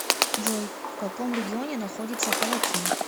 джой в каком регионе находится палатин